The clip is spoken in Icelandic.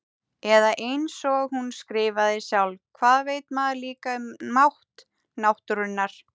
Eða einsog hún skrifaði sjálf: Hvað veit maður líka um mátt náttúrunnar.